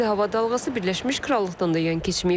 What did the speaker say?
İsti hava dalğası Birləşmiş Krallıqdan da yan keçməyib.